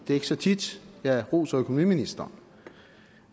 er ikke så tit jeg roser økonomiministeren